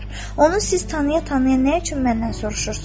Onu siz tanıya-tanıya nə üçün məndən soruşursunuz?